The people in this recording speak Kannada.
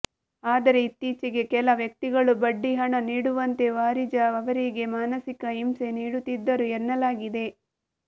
ಆದರೆ ಇತ್ತೀಚೆಗೆ ಕೆಲ ವ್ಯಕ್ತಿಗಳು ಬಡ್ಡಿ ಹಣ ನೀಡುವಂತೆ ವಾರಿಜಾ ಅವರಿಗೆ ಮಾನಸಿಕ ಹಿಂಸೆ ನೀಡುತ್ತಿದ್ದರು ಎನ್ನಲಾಗಿದೆ